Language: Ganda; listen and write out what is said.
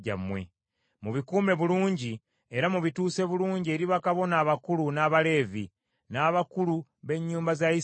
Mubikuume bulungi era mubituuse bulungi eri bakabona abakulu n’Abaleevi, n’abakulu b’ennyumba za Isirayiri.”